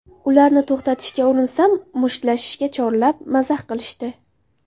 Ularni to‘xtatishga urinsam, mushtlashishga chorlab, mazax qilishdi.